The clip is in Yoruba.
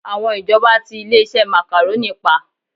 Àwọn ìjọba tí ilé-iṣẹ́ Macaroni pa